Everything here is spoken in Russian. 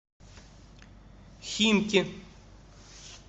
химки